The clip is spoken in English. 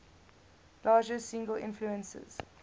largest single influences